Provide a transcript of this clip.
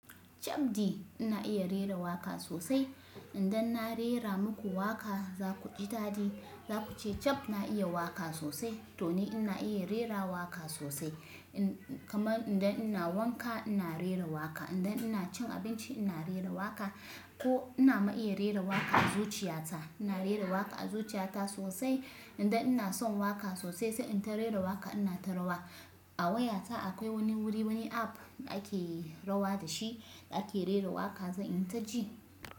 Chabdi ina iya rera waƙa sosai. Idan na rera muku waƙa za ku ji dadi. Za ku ce Chab na iya waƙa sosai, to ni ina iya rera waƙa sosai. Kaman idan ina wanka ina rera waƙa, idan ina cin abinci ina rera waƙa ko ina ma iya rera waƙa a zuciya ta. Ina rera waƙa a zuciya ta sosai. Idan ina son waƙa sosai sai in ta rera waƙa ina ta rawa. A wayata akwai wani wuri, wani app da ake rawa da shi da ake rera waƙa zan yi ta ji.